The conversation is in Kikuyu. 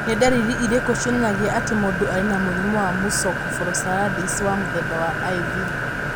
Nĩ ndariri irĩkũ cionanagia atĩ mũndũ arĩ na mũrimũ wa Mucopolysaccharidosis wa mũthemba wa IV?